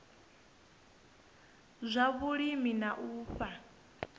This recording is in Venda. zwa vhulimi na u fha